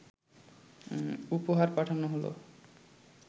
উপহার পাঠানো হলো